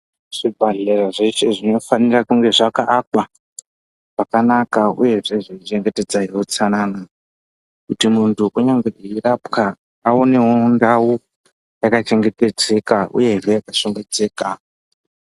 Zvibhehlera zveshe zvinofanira kunge zvakaakwa zvakanaka uyezve zveichengetedza utsanana kunyati muntu eirwapwa aonewo ndau yakachengetedzeka uye yakashambidzika.